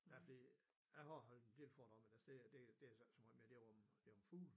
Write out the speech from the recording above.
Ja fordi jeg har også holdt en del foredrag men altså det det så ikke så meget mere det om det om fugle